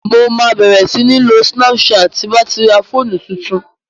Mo ma bẹ̀rẹ̀ sí ń lo snapchat ti ń bá ti ra fóònù tuntun